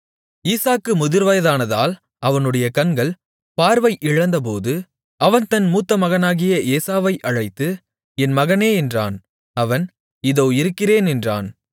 ஈசாக்கு முதிர்வயதானதால் அவனுடைய கண்கள் பார்வையிழந்தபோது அவன் தன் மூத்த மகனாகிய ஏசாவை அழைத்து என் மகனே என்றான் அவன் இதோ இருக்கிறேன் என்றான்